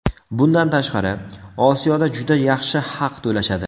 Bundan tashqari, Osiyoda juda yaxshi haq to‘lashadi.